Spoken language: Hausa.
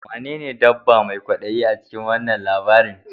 Wanene dabba mai kwadayi a cikin wannan labarin?